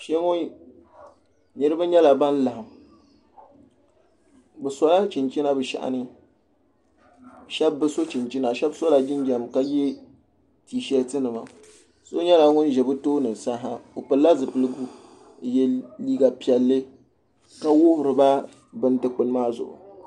Kpeŋɔ niriba nyɛla ban laɣim bɛ sola chinchina bɛ shɛhini sheba bi so chinchina sheba sola jinjiɛm ka ye tiisheeti nima so nyɛla ŋun ʒɛ bɛ tooni sa o pilila zipiligu n ye liiga piɛlli ka wuhirila bini dikpini maa zuɣu.